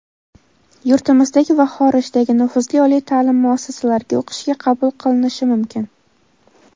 yurtimizdagi va xorijdagi nufuzli oliy ta’lim muassasalariga o‘qishga qabul qilinishi mumkin.